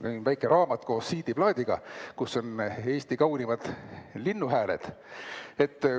Mul on väike raamat koos CD-plaadiga, kus on Eesti kaunimad linnuhääled.